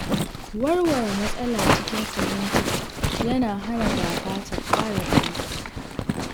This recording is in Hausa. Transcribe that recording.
Warware matsala cikin fahimta yana hana gaba ta ƙara ƙarfi.